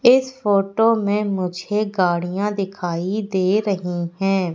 इस फोटो में मुझे गाड़ियां दिखाई दे रही है।